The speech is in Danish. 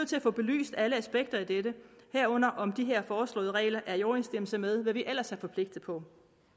til at få belyst alle aspekter af dette herunder om de her foreslåede regler er i overensstemmelse med hvad vi ellers er forpligtet på